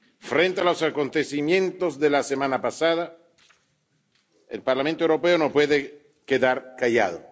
Frente a los acontecimientos de la semana pasada, el Parlamento Europeo no puede quedarse callado.